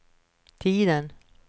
tiden